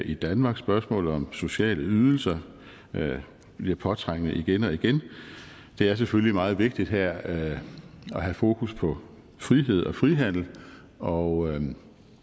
i danmark spørgsmålet om sociale ydelser bliver påtrængende igen og igen det er selvfølgelig meget vigtigt her at have fokus på frihed og frihandel og